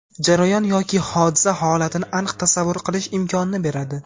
jarayon yoki hodisa-holatni aniq tasavvur qilish imkonini beradi.